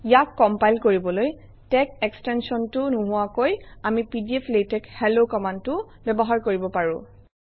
ইয়াক কমপাইল কৰিবলৈ তেশ এক্সটেনশ্যনটো নোহোৱাকৈ আমি পিডিফ্লেটশেলো কমাণ্ডটোও ব্যৱহাৰ কৰিব পাৰোঁ